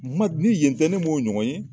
N ma ni yen tɛ ne m'o ɲɔgɔn ye